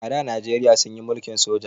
A da najeriya sunyi mulkin soja